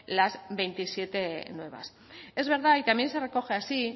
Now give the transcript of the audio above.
las veintisiete nuevas es verdad y también se recoge así